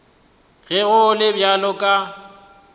ge go le bjalo ka